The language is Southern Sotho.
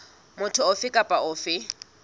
motho ofe kapa ofe a